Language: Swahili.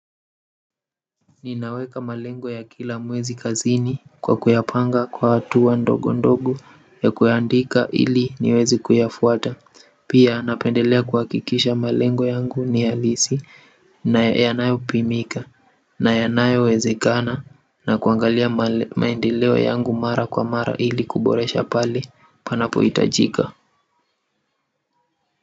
Ninaweka malengo ya kila mwezi kazini kwa kuyapanga kwa hatua ndogo ndogo ya kuandika ili niweze kuyafuata pia napendelea kuhakikisha malengo yangu ni alisi na yanayo pimika na yanayo wezekana na kuangalia maendeleo yangu mara kwa mara ili kuboresha pale panapo hitajika.